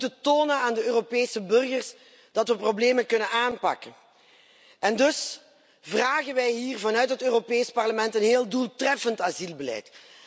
We moeten tonen aan de Europese burgers dat we problemen kunnen aanpakken en dus vragen wij hier vanuit het Europees Parlement een heel doeltreffend asielbeleid.